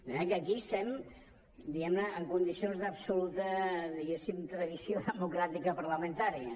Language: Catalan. de manera que aquí estem diguem ne en condicions d’absoluta tradició democràtica parlamentària